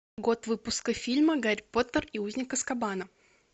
год выпуска фильма гарри поттер и узник азкабана